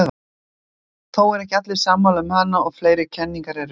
Þó eru ekki allir sammála um hana og fleiri kenningar eru uppi.